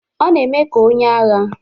Ọ na-eme ka onye agha.